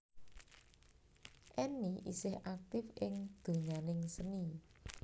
Enny isih aktif ing donyaning seni